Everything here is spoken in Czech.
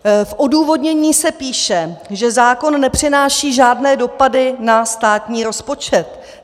V odůvodnění se píše, že zákon nepřináší žádné dopady na státní rozpočet.